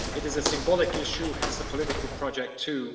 It is a symbolic issue, hence a political project too.